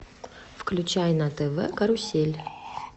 включай на тв карусель